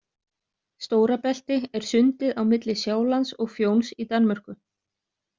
Stórabelti er sundið á milli Sjálands og Fjóns í Danmörku.